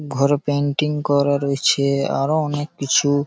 ঘর পেন্টিং করা রয়েছে আরো অনেককিছু।